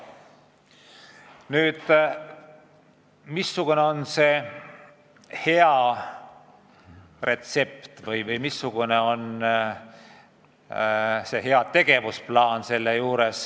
Nüüd, missugune on hea retsept või missugune on hea tegevusplaan?